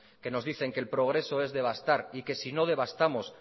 que nos dice que el progreso es devastar y que sino devastamos